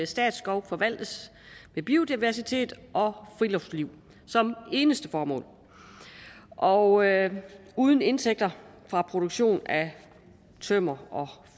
statsskove forvaltes med biodiversitet og friluftsliv som eneste formål og uden indtægter fra produktion af tømmer og